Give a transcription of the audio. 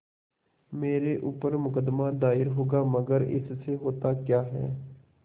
मेरे ऊपर मुकदमा दायर होगा मगर इससे होता क्या है